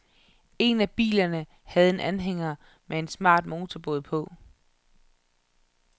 En af bilerne havde en anhænger med en smart motorbåd på.